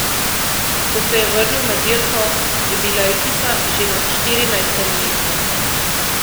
Ko se je vrnil na dirko, je bila ekipa že na štirinajstem mestu.